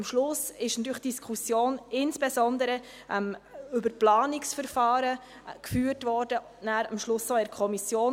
Am Schluss wurde die Diskussion insbesondere über Planungsverfahren geführt, am Schluss auch in der Kommission.